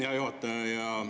Hea juhataja!